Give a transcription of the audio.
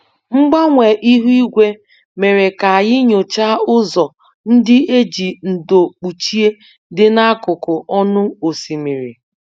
Mgbanwe ihu igwe mere ka anyị nyochaa ụzọ ndị e ji ndo kpuchie dị n'akụkụ ọnụ osimiri